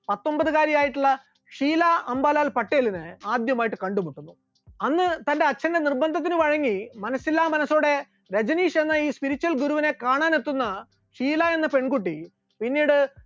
പത്തൊമ്പതുകാരി ആയിട്ടുള്ള ഷീല അംബലാൽ പട്ടേലിനെ ആദ്യമായിട്ട് കണ്ടുമുട്ടുന്നു, അന്ന് തന്റെ അച്ഛന്റെ നിർബന്ധത്തിന് വഴങ്ങി മനസ്സില്ലാമനസ്സോടെ രജനീഷ് എന്ന ഈ spiritual ഗുരുവിനെ കാണാനെത്തുന്ന ഷീല എന്ന പെൺകുട്ടി പിന്നീട്